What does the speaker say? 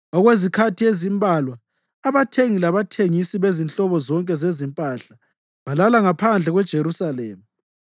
Okwezikhathi ezimbalwa abathengi labathengisi bezinhlobo zonke zezimpahla balala ngaphandle kweJerusalema.